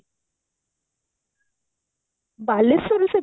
ବାଲେଶ୍ଵର ରେ ସବୁ